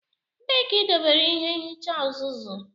Ebee ka idobere ịhe nhicha uzuzu.